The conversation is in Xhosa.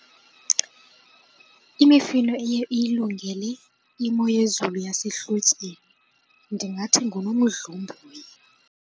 Imifino eye iyilungele imo yezulu yasehlotyeni ndingathi ngunomdlomboyi.